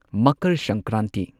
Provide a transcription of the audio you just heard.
Makar Sankranti